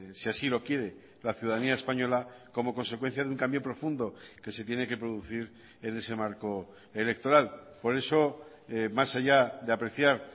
si así lo quiere la ciudadanía española como consecuencia de un cambio profundo que se tiene que producir en ese marco electoral por eso más allá de apreciar